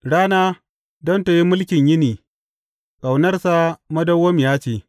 Rana don tă yi mulkin yini, Ƙaunarsa madawwamiya ce.